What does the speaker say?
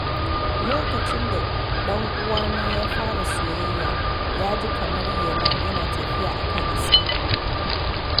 Lokacin da dan uwana ya fara soyayya, ya ji kamar yana tafiya a kan iska.